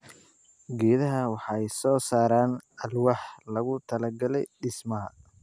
Geedaha waxay soo saaraan alwaax loogu talagalay dhismaha.